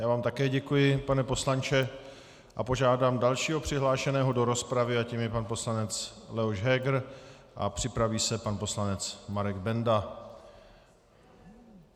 Já vám také děkuji, pane poslanče, a požádám dalšího přihlášeného do rozpravy a tím je pan poslanec Leoš Heger a připraví se pan poslanec Marek Benda.